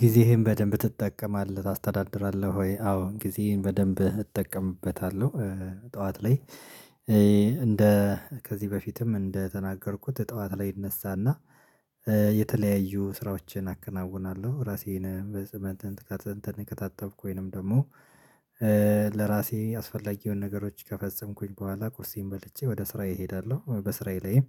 ጊዜህን በደንብ ትጠቀማለህ ታስተዳድራለህ ወይ? አዎ ጊዜህን በደንብ እጠቀምበታለሁ ጠዋት ላይ እንደ ከዚህ በፊትም እንደተናገርኩት ጠዋት ላይ ይነሳና የተለያዩ ስራዎችን አከናውናለሁ ራሴን በጽንት በጽንት ከታተምኩኝ ወይንም ደግሞ ለራሴ ያስፈለጌውን ነገሮች ከፈጸምኩኝ በኋላ ቁርሴን በልቼ ወደ ስራዬ እሄዳለሁ በስራዬ ላይም